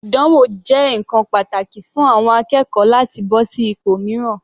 Ìdánwò jẹ́ ǹkan pàtàkì fún àwọn akẹ́kọ̀ọ́ láti bọ́ sí ipò mìíràn.